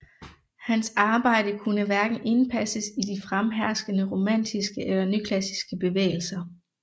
Hans arbejde kunne hverken indpasses i de fremherskende romantiske eller nyklassiske bevægelser